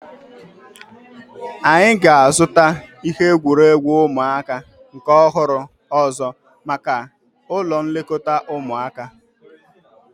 Anyị ga-azuta ihe egwuregwu ụmụaka nke ọhụrụ ọzọ maka ụlọ nlekọta ụmụaka